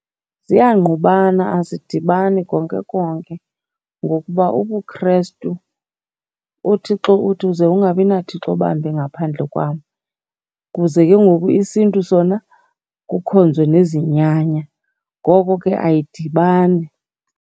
Ziyangqqubana, azidibani konke konke ngokuba ubuKrestu, uThixo uthi uze ungabinaThixo bambi ngaphandle kwam. Kuze ke ngoku isiNtu sona kukhonzwe nezinyanya, ngoko ke ayidibani.